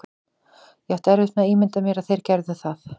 Ég átti erfitt með að ímynda mér að þeir gerðu það.